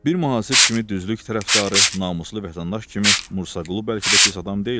Bir mühasib kimi düzlük tərəfdarı, namuslu vətəndaş kimi Musa Qulu bəlkə də pis adam deyildi.